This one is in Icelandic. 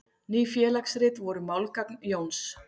Ný félagsrit voru málgagn Jóns.